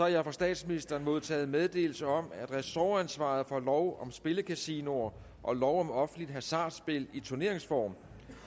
jeg har fra statsministeren modtaget meddelelse om at ressortansvaret for lov om spillekasinoer og lov om offentligt hasardspil i turneringsform